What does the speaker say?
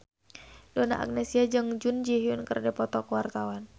Donna Agnesia jeung Jun Ji Hyun keur dipoto ku wartawan